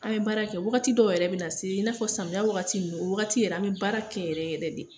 An bɛ baara kɛ, wagati dɔw yɛrɛ bɛ na se i n'a fɔ samiya wagati ninnu o wagati yɛrɛ an bɛ baara kɛ yɛrɛ yɛrɛ de.